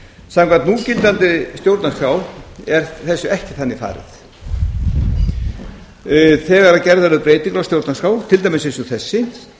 samkvæmt núgildandi stjórnarskrá er þessu ekki þannig farið þegar gerðar eru breytingar á stjórnarskrá til dæmis eins og þessi